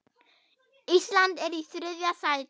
Ísland er í þriðja sæti.